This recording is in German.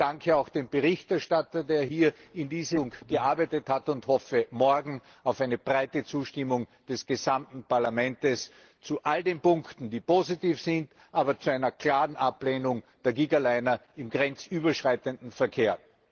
Ich danke auch dem Berichterstatter, der hier in diese Richtung gearbeitet hat, und hoffe morgen auf eine breite Zustimmung des gesamten Parlaments zu all den Punkten, die positiv sind, aber zu einer klaren Ablehnung der Gigaliner im grenzüberschreitenden Verkehr.